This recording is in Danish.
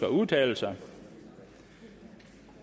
at udtale sig